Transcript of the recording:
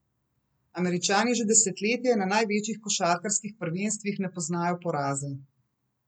Američani že desetletje na največjih košarkarskih prvenstvih ne poznajo poraza.